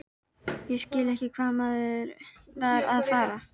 Ég skildi ekki hvað maðurinn var að fara.